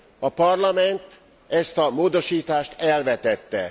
A Parlament ezt a módosítást elvetette.